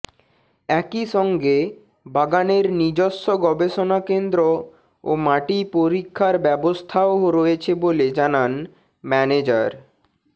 একই সঙ্গে বাগানের নিজস্ব গবেষণা কেন্দ্র ও মাটি পরীক্ষার ব্যবস্থাও রয়েছে বলে জানান ম্যানেজার